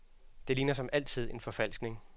Det ligner som altid en forfalskning.